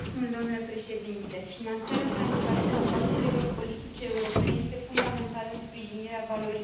Finanțarea transparentă a partidelor politice europene este fundamentală în sprijinirea valorilor democratice.